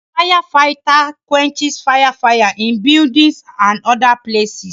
A fire-fighter quenches fire fire in buildings and other places